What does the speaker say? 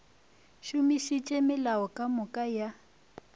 šomišitše melao ka moka ya